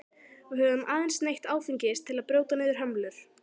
Við höfum aðeins neytt áfengis til að brjóta niður hömlur.